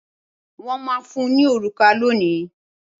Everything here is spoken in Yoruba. Wọ́n máa fún ní òrùka lónìí.